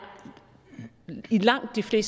det